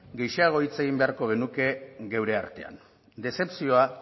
gehixeago hitz egin beharko genuke geure artean dezepzioa